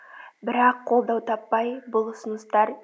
бірақ қолдау таппай бұл ұсыныстар